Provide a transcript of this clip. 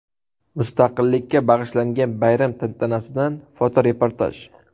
Mustaqillikka bag‘ishlangan bayram tantanasidan fotoreportaj.